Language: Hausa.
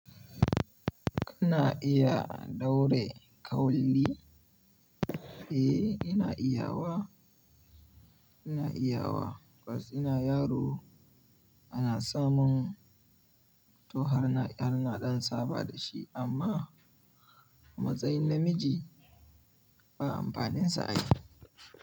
Kana iya ɗaure kauli? Eh ina iya wa, ina iya wa. Kwas ina yaro ana samun to har na ɗan saba da shi amma matsayin namiji, ba amfaninsa a yi.